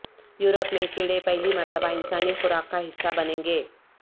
Europe میں کیڑے پہلی مرتبہ انسانی خوراک کا حصہ بنیں گے